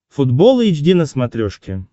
футбол эйч ди на смотрешке